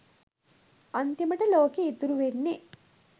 අන්තිමට ලෝකෙ ඉතුරු වෙන්නෙ